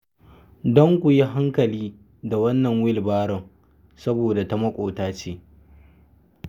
Don ku yi a hankali da wannan wilbaron, saboda ta maƙota ce.